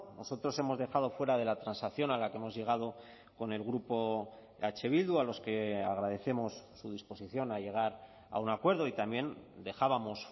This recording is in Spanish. nosotros hemos dejado fuera de la transacción a la que hemos llegado con el grupo eh bildu a los que agradecemos su disposición a llegar a un acuerdo y también dejábamos